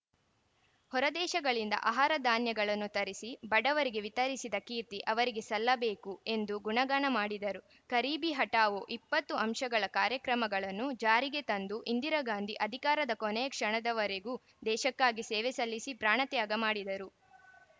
ಹೊರದೇಶಗಳಿಂದ ಆಹಾರ ಧಾನ್ಯಗಳನ್ನು ತರಿಸಿ ಬಡವರಿಗೆ ವಿತರಿಸಿದ ಕೀರ್ತಿ ಅವರಿಗೆ ಸಲ್ಲಬೇಕು ಎಂದು ಗುಣಗಾನ ಮಾಡಿದರು ಗರೀಬಿ ಹಠಾವೋ ಇಪ್ಪತ್ತು ಅಂಶಗಳ ಕಾರ್ಯಕ್ರಮಗಳನ್ನು ಜಾರಿಗೆ ತಂದು ಇಂದಿರಾಗಾಂಧಿ ಅಧಿಕಾರದ ಕೊನೆಯ ಕ್ಷಣದವರೆಗೂ ದೇಶಕ್ಕಾಗಿ ಸೇವೆಸಲ್ಲಿಸಿ ಪ್ರಾಣತ್ಯಾಗ ಮಾಡಿದರು